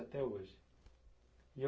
hoje. E on